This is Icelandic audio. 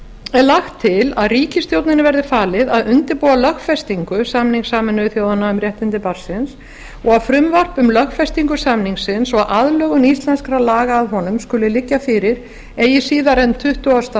er lagt til að ríkisstjórninni verði falið að undirbúa lögfestingu samnings sameinuðu þjóðanna um réttindi barnsins og að frumvarp um lögfestingu samningsins og aðlögun íslenskra laga að honum skuli liggja fyrir eigi síðar en tuttugasta